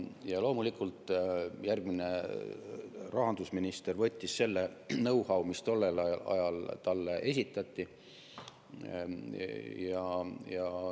Ja loomulikult järgmine rahandusminister võttis selle know-how, mis tollel ajal talle esitati.